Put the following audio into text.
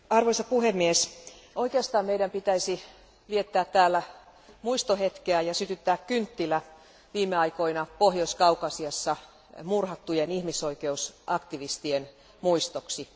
Arvoisa puhemies, oikeastaan meidän pitäisi viettää täällä muistohetkeä ja sytyttää kynttilä viime aikoina Pohjois Kaukasiassa murhattujen ihmisoikeusaktivistien muistoksi.